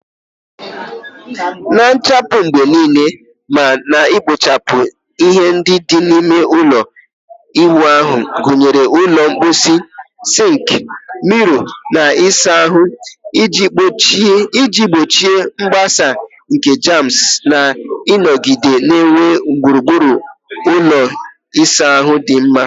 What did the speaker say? Na-asachapụ mgbe niile ma na-ekpochapụ ihe ndị dị n'ime ime ụlọ ịwụ ahụ, gụnyere ụlọ mposi, sink, mirror, na ịsa ahụ, iji gbochie mgbasa nke germs na ịnọgide na-enwe gburugburu ụlọ ịsa ahụ dị mma.